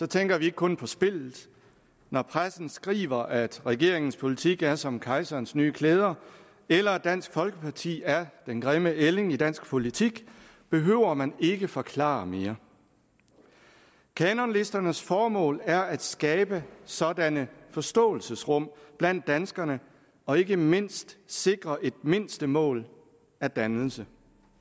tænker vi ikke kun på spillet når pressen skriver at regeringens politik er som kejserens nye klæder eller at dansk folkeparti er den grimme ælling i dansk politik behøver man ikke forklare mere kanonlisternes formål er at skabe sådanne forståelsesrum blandt danskerne og ikke mindst sikre et mindstemål af dannelse